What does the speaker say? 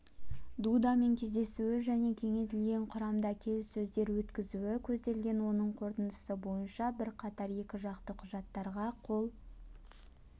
дудамен кездесуі және кеңейтілген құрамда келіссөздер өткізуі көзделген оның қорытындысы бойынша бірқатар екіжақты құжаттарға қол